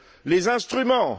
Les instruments?